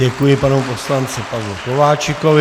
Děkuji panu poslanci Pavlu Kováčikovi.